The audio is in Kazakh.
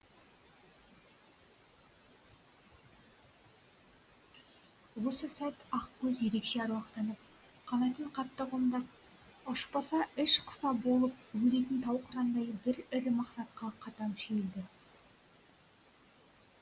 осы сәт ақкөз ерекше аруақтанып қанатын қатты қомдап ұшпаса іш құса болып өлетін тау қырандай бір ірі мақсатқа қатаң шүйілді